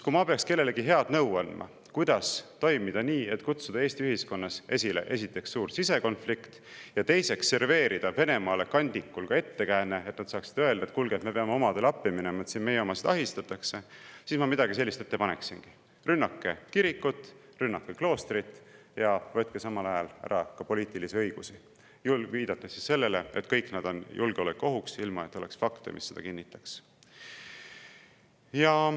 Kui ma peaksin kellelegi head nõu andma, kuidas toimida nii, et kutsuda Eesti ühiskonnas esile, esiteks, suur sisekonflikt, ja teiseks, serveerida Venemaale kandikul ettekääne, et nad saaksid öelda, et kuulge, me peame omadele appi minema, meie omasid ahistatakse, siis ma midagi sellist ette paneksingi: rünnake kirikut, rünnake kloostrit ja võtke samal ajal ära poliitilisi õigusi, viidates sellele, et kõik need on julgeolekuohuks, ilma et oleks fakte, mis seda kinnitaks.